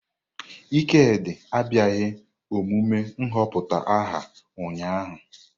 Ikedi abịaghị emume nhọpụta aha ụnyahụ.